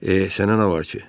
Eeh, sənə nə var ki.